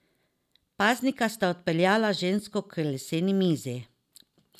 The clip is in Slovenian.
Paznika sta odpeljala žensko k leseni mizi.